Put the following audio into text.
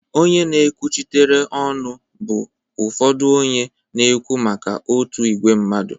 Onye na-ekwuchitere ọnụ bụ ụfọdụ onye na-ekwu maka otu ìgwè mmadụ